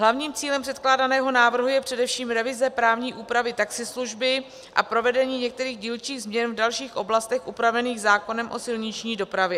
Hlavním cílem předkládaného návrhu je především revize právní úpravy taxislužby a provedení některých dílčích změn v dalších oblastech upravených zákonem o silniční dopravě.